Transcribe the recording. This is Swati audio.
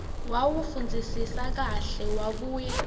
wawufundzisisa kahle wabuye